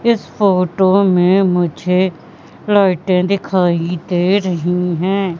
इस फोटो में मुझे लाइटे दिखाई दे रही है।